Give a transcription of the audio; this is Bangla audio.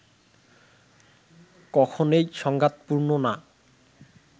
কখনেই সংঘাত পূর্ণ না